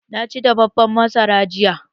Na ci dafaffen masara jiya.